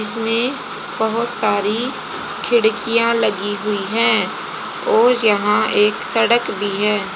इसमें बहोत सारी खिड़कियां लगी हुई हैं और यहां एक सड़क भी हैं।